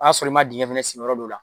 O y'a sɔrɔ i ma dingɛ fana sen yɔrɔ dɔw la